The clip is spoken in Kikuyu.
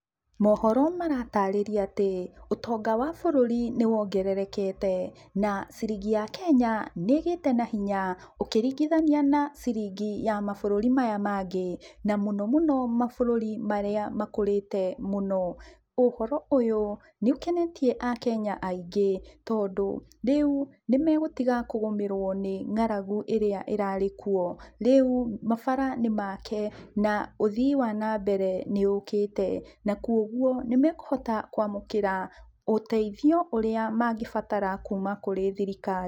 Mohoro maratarĩria atĩ ũtonga wa bũrũri nĩwongererekete, na ciringi ya Kenya nĩgĩte na hinya ũkĩringithania na ciringi ya mabũrũri maya mangĩ, na mũno mũno mabũrũri marĩa makũrĩte mũno. Ũhoro ũyũ nĩũkenetie akenya aingi tondũ rĩu nĩmegũtiga kũgũmĩrwo nĩ ng'aragu ĩrĩa ĩrarĩ kuo. Rĩu mabara nĩ make na ũthii wa na mbere nĩũkĩte na kogwo nĩmekũhota kwamũkĩra ũteithio ũrĩa mangĩbatara kuma kũrĩ thirikari.